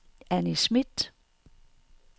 Anni Schmidt